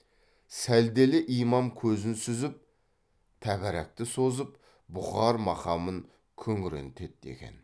сәлделі имам көзін сүзіп тәбәрәкті созып бұқар мақамын күңірентеді екен